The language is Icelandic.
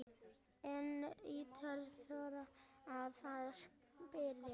Enginn virtist þora að spyrja